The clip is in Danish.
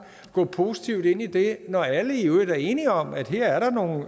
gå positivt ind i det når alle i øvrigt er enige om at her er der nogle